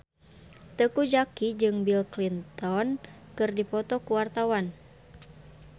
Teuku Zacky jeung Bill Clinton keur dipoto ku wartawan